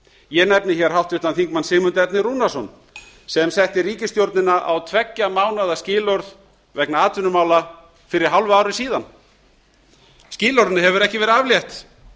ég nefni hér háttvirtur þingmaður sigmund erni rúnarsson sem setti ríkisstjórnina á tveggja mánaða skilorð vegna atvinnumála fyrir hálfu ári síðan skilorðinu hefur ekki verið aflétt